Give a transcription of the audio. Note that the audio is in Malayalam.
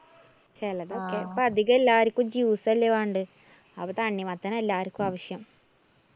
ചെലതൊക്കെ ഇപ്പ അധികം എല്ലാര്‍ക്കും juice അല്ലേ വേണ്ട്. അപ്പോ തണ്ണിമത്തനാ എല്ലാര്‍ക്കും ആവശ്യം.